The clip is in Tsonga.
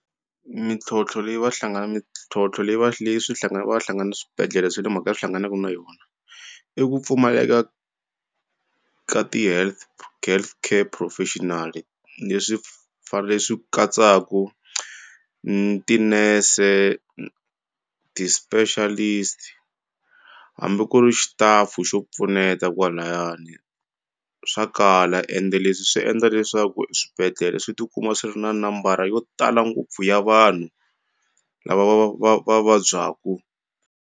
Mintlhontlho leyi va hlangana mintlhontlho leyi va leyi swi hlangana va hlangana swibedhlele swe le makaya swi hlanganaku na yona i ku pfumaleka ka ti health health care professionally leswi leswi katsaku tinese ti-specialist hambi ku ri xitafu xo pfuneta kwalayani swa kala ende leswi swi endla leswaku swibedhlele swi tikuma swi ri na nambara yo tala ngopfu ya vanhu lava va va va vabyaku.